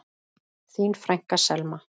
Þín frænka, Selma.